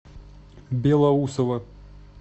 белоусово